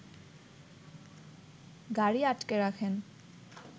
গাড়ি আটকে রাখেন